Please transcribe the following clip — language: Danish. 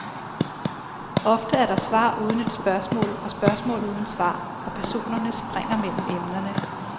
Ofte er der svar uden et spørgsmål og spørgsmål uden svar, og personerne springer mellem emnerne.